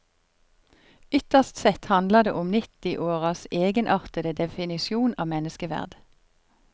Ytterst sett handler det om nittiåras egenartede definisjon av menneskeverd.